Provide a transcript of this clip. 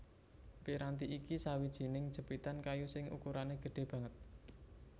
Piranti iki sawijining jepitan kayu sing ukurané gedhé banget